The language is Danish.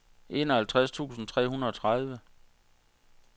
enoghalvtreds tusind tre hundrede og tredive